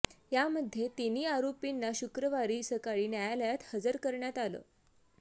यामध्ये तिन्ही आरोपींना शुक्रवारी सकाळी न्यायालयात हजर करण्यात आलं